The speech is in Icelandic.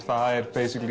það er